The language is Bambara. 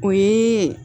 O ye